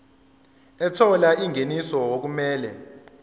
ethola ingeniso okumele